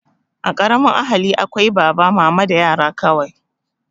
A ƙaramin ahali akwai baba, mama da yara kawai